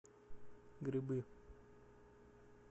грибы